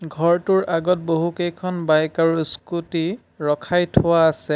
ঘৰটোৰ আগত বহুকেইখন বাইক আৰু স্কুটি ৰখাই থোৱা আছে।